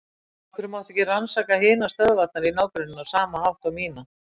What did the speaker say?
Af hverju mátti ekki rannsaka hinar stöðvarnar í ná- grenninu á sama hátt og mína?